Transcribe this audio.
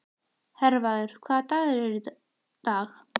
Hervarður, hvaða dagur er í dag?